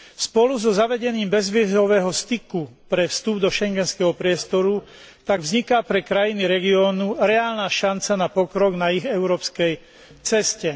Spolu so zavedením bezvízového styku pre vstup do schengenského priestoru tak vzniká pre krajiny regiónu reálna šanca na pokrok na ich európskej ceste.